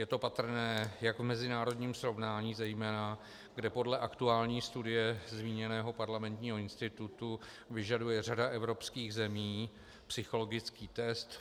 Je to patrné jak v mezinárodním srovnání zejména, kde podle aktuální studie zmíněného Parlamentního institutu vyžaduje řada evropských zemí psychologický test.